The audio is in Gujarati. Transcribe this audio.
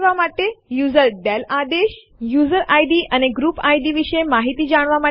આપણે જોઈ શકીએ છીએ કે બે ફાઈલો સેમ્પલ1 અને સેમ્પલ2 વચ્ચે પ્રથમ તફાવત બતાવ્યો છે